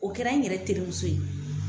O kɛra n yɛrɛ terimuso ye.